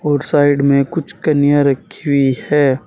और साइड में कुछ कन्या रखी हुई है।